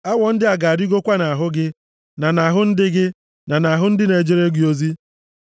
Awọ ndị a ga-arịgokwa nʼahụ gị, na nʼahụ ndị gị, na nʼahụ ndị na-ejere gị ozi.’ ”